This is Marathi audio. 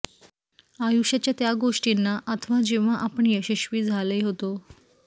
आयुष्याच्या त्या गोष्टींना अथवा जेव्हा आपण यशस्वी झाला होता